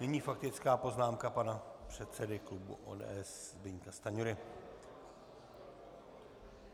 Nyní faktická poznámka pana předsedy klubu ODS Zbyňka Stanjury.